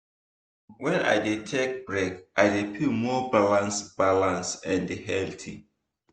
true true when i dey take break i dey feel more balanced balanced and healthy.